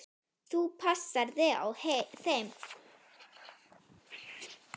Þú passar þig á þeim.